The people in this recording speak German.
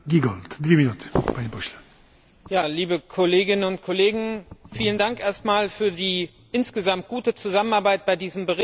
Herr Präsident, liebe Kolleginnen und Kollegen! Vielen Dank erst einmal für die insgesamt gute Zusammenarbeit bei diesem Bericht.